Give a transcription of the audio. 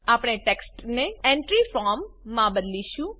આપણે ટેક્સ્ટને entry form માં બદલીશું